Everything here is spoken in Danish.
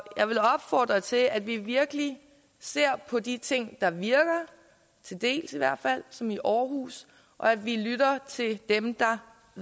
jeg vil opfordre til at vi virkelig ser på de ting der virker til dels i hvert fald som i aarhus og at vi lytter til dem der